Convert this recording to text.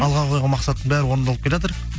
алға қойған мақсаттың бәрі орындалып келеатыр мхм